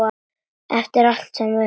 Eftir allt sem við höfum.